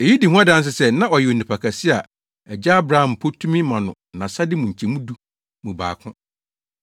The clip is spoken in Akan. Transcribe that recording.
Eyi di ho adanse sɛ na ɔyɛ onipa kɛse a Agya Abraham mpo tumi ma no nʼasade mu nkyɛmu du mu baako.